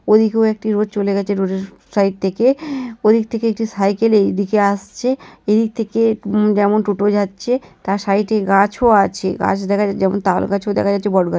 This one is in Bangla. ওদিকেও একটি রোড চলে গেছে রোডে এর সাইড থেকে ওদিক থেকে একটি সাইকেলের দিকে আসছে এর থেকে যেমন টোটো যাচ্ছে তার সাইডে গাছও আছে গাছ দেখাতে যেমন তালগাছ দেখা যাচ্ছে বট গাছ--